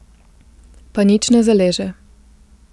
Pa nič ne zaleže.